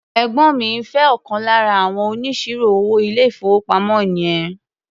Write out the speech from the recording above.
Ẹ̀gbọ́ mi ń fé ọ̀kan lára àwọn oníṣirò-owó ilé-ìfowópamọ́ yẹn.